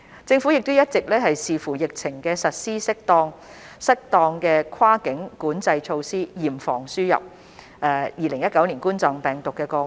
政府一直視乎疫情實施適當的跨境管制措施，嚴防輸入2019冠狀病毒病個案。